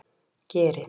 Geri